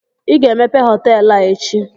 I ga-emepe họtelụ a echi!